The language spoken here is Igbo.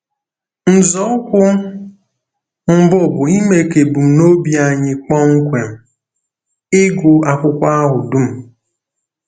Nzọụkwụ mbụ bụ ime ka ebumnobi anyị kpọmkwem — ịgụ akwụkwọ ahụ dum.